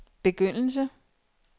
begyndelse